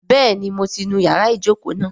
Bẹ́ẹ̀ni mo ti nu ìyára ìjókòó náà